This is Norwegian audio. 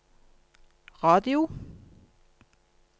radio